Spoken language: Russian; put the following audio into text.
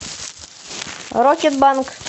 рокетбанк